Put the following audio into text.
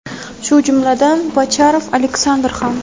shu jumladan Bocharov Aleksandr ham.